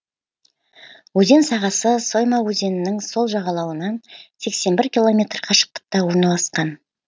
өзен сағасы сойма өзенінің сол жағалауынан сексен бір километр қашықтықта орналасқан